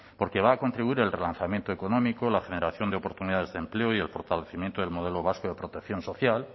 porque va a contribuir el relanzamiento económico la generación de oportunidades de empleo y el fortalecimiento del modelo vasco de protección social